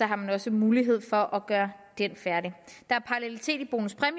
har man også mulighed for at gøre den færdig der